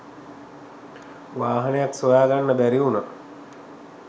වාහනයක් සොයාගන්න බැරිවුණා.